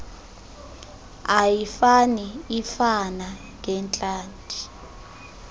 ayifani ifana ngeentlanti